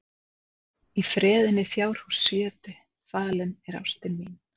Í freðinni fjárhússjötu falin er ástin mín.